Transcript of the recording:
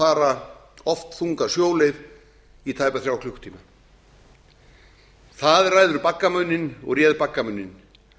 þess að fara oft þunga sjóleið í tæpa þrjá klukkutíma það ræður baggamuninn og réð baggamuninn